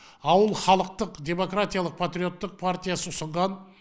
ауыл халықтық демократиялық патриоттық партиясы ұсынған